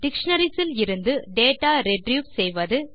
dictionaries இலிருந்து data retrieve செய்வது